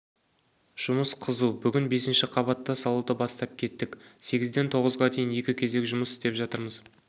жұмыс қызу бүгін бесінші қабатты салуды бастап кеттік сегізден тоғызға дейін екі кезек жұмыс істеп жатырмыз